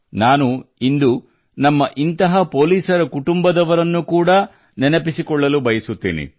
ನಾನು ಇಂದು ನಮ್ಮ ಇಂತಹ ಪೊಲೀಸ್ ಸ್ನೇಹಿತರ ಕುಟುಂಬದವರನ್ನು ಕೂಡಾ ನೆನಪಿಸಿಕೊಳ್ಳಲು ಬಯಸುತ್ತೇನೆ